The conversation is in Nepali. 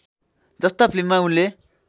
जस्ता फिल्‍ममा उनले